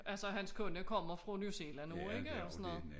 Altså hans kone kommer fra New Zealand også ikke